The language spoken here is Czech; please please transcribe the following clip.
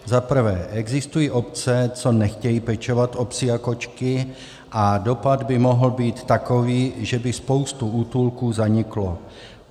Za prvé, existují obce, co nechtějí pečovat o psy a kočky, a dopad by mohl být takový, že by spousta útulků zanikla.